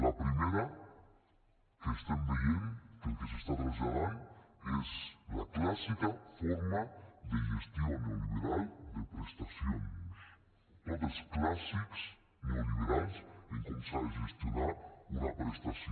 la primera que estem veient que el que s’està traslladant és la clàssica forma de gestió neoliberal de prestacions tots els clàssics neoliberals de com s’ha de gestionar una prestació